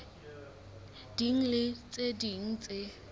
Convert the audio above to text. ding le tse ding tse